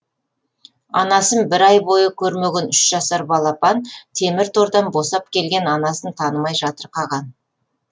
анасын бір ай бойы көрмеген үш жасар балапан темір тордан босап келген анасын танымай жатырқаған